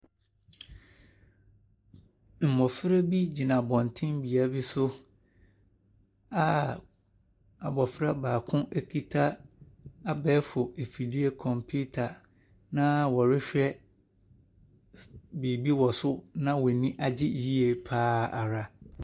Mmɔfra bi gyina abɔntene bea bi so a abɔfra baako kita abɛɛfo afidie computer, na wɔrehwɛ s biribi wɔ so na wɔn ani agye yie pa ara.